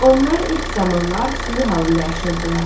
Onlar ilk zamanlar sürü halında yaşayırdılar.